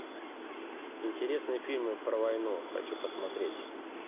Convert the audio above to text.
интересные фильмы про войну хочу посмотреть